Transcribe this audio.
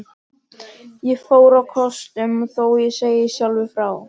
Ég fór á kostum, þó ég segi sjálfur frá.